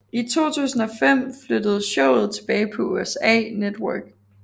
I 2005 flyttede showet tilbage på USA Network